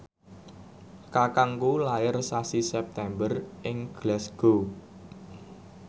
kakangku lair sasi September ing Glasgow